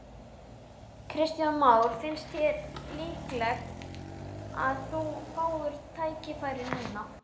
Kristján Már: Finnst þér líklegt að þú fáir tækifæri núna?